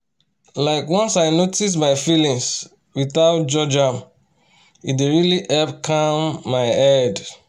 like once i notice my feelings without judge am e dey really help calm my head